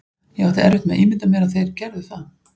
Ég átti erfitt með að ímynda mér að þeir gerðu það.